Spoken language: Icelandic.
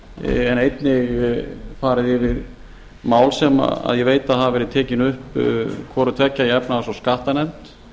en einnig farið yfir mál sem ég veit að hafa verið tekin upp hvorutveggja í efnahags og skattanefnd